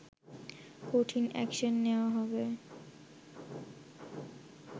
কঠিন অ্যাকশন নেওয়া হবে